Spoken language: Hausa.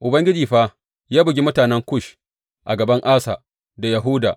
Ubangiji fa ya bugi mutanen Kush a gaban Asa da Yahuda.